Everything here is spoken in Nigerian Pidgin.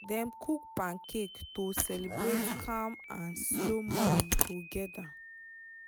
dem cook pancake to celebrate calm and slow morning together.